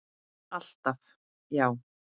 Alltaf já.